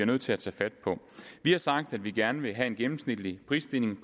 nødt til at tage fat på vi har sagt at vi gerne vil have en gennemsnitlig prisstigning